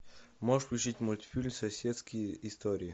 можешь включить мультфильм соседские истории